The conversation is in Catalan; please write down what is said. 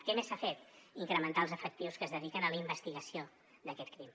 què més s’ha fet incrementar els efectius que es dediquen a la investigació d’aquest crim